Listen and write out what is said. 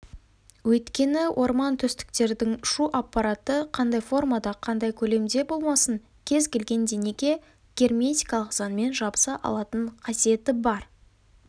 өйткені ормантөстіктердің ұшу аппараты қандай формада қандай көлемде болмасын кез келген денеге герметикалық заңмен жабыса алатын қасиеті бар